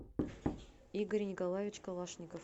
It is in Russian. игорь николаевич калашников